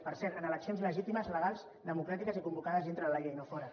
per cert en eleccions legítimes legals democràtiques i convocades dintre de la llei no fora